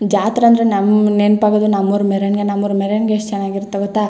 ಜಾತ್ರೆ ಅಂದ್ರೆ ನಮ್ಮಗೆ ನೆನಪಾಗೋದು ನಮ್ಮಊರ್ ಮೆರವಣಿಗೆ ನಮ್ಮಊರ್ ಮೆರವಣಿಗೆ ಎಷ್ಟ ಚನ್ನಾಗಿರುತ್ತೆ ಗೊತ್ತಾ .